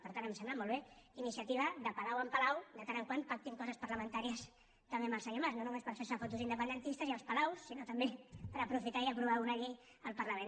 per tant em sembla molt bé que iniciativa de palau en palau de tant en tant pacti coses parlamentàries també amb el senyor mas no només per fer se fotos independentistes i als palaus sinó també per aprofitar i aprovar una llei al parlament